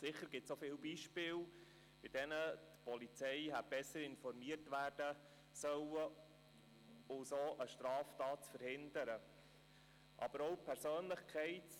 Sicher gibt es auch viele Beispiele, bei denen die Polizei besser hätte informiert werden sollen, um eine solche Straftat verhindern zu können.